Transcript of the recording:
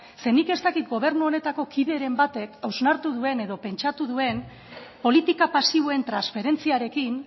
nik ez dakit gobernu honetako kideren batek hausnartu duen edo pentsatu duen politika pasiboen transferentziarekin